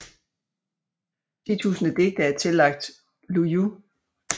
Ti tusinde digte er tillagt Lu Yu